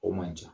O man ca